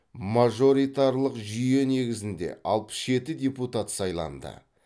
мажоритарлық жүйе негізінде алпыс жеті депутат сайланды